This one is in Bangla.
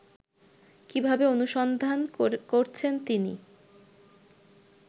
কীভাবে অনুসন্ধান করছেন তিনি